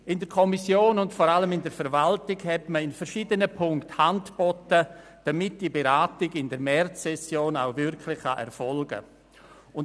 In der Kommission und vor allem in der Verwaltung hat man in sich bei verschiedenen Punkten die Hand gereicht, damit die Beratung in der Märzsession erfolgen kann.